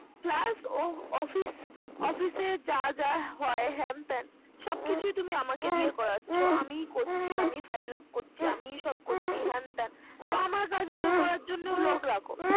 Plus ও ওর অফিসের যা যা হয় হ্যান ত্যান। সব কিছুই তুমি আমাকে দিয়ে করাচ্ছো। আমি করছি। আমিই file up করছি। আমি সব করছি। হ্যান ত্যান। তো আমার কাজ গুলো করার জন্য লোক রাখো।